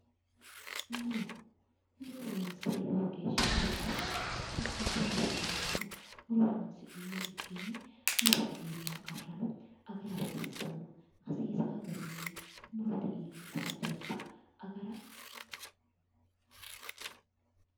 Muro muro horoonsira lowo geeshsha danchate hakkiichinni sa"eennano muro horoonsi'nummo likkenni murote iillanno qarrano agara hasiissanno hattono hasiisao garinni murote iillitao jaddo agara